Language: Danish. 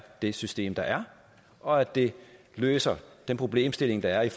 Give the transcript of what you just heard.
det system der er og at det løser den problemstilling der er i